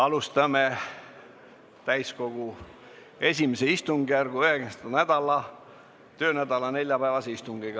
Alustame täiskogu I istungjärgu 9. töönädala neljapäevast istungit.